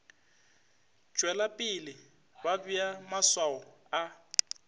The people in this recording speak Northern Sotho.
tšwelapele ba bea maswao a